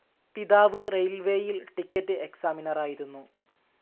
പിതാവ്‌ റെയിൽവേയിൽ ടിക്കറ്റ്സ്‌ എക്സാമിനറായിരുന്നു.